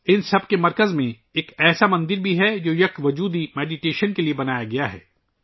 ان سب کے مرکز میں ایک ایسا مندر بھی ہے ، جسے اَدویت وادی دھیان کے لئے تعمیر کیا گیا ہے